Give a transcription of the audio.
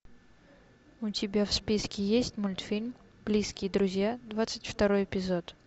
у тебя в списке есть мультфильм близкие друзья двадцать второй эпизод